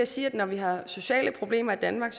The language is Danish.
sige at det når vi har sociale problemer i danmark